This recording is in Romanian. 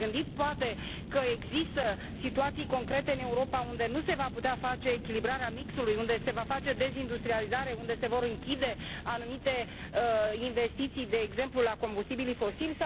V ați gândit, poate, că există situații concrete în Europa unde nu se va putea face echilibrarea mixului, unde se va face dezindustrializare, unde se vor închide anumite investiții, de exemplu pentru combustibilii fosili?